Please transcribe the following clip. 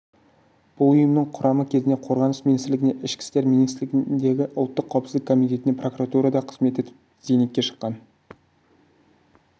бұл ұйымның құрамы кезінде қорғаныс министрлігінде ішкі істер министрлігінде ұлттық қауіпсіздік комитетінде прокуратурада қызмет етіп зейнетке шыққан